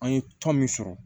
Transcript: An ye tɔn min sɔrɔ